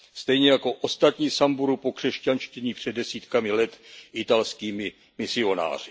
Stejně jako ostatní Samburu pokřesťanštění před desítkami let italskými misionáři.